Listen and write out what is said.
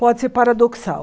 Pode ser paradoxal.